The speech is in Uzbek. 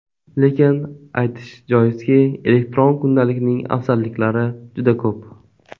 Lekin aytish joizki, elektron kundalikning afzalliklari juda ko‘p.